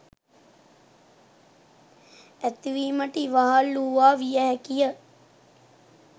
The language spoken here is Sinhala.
ඇතිවීමට ඉවහල් වූවා විය හැකි ය.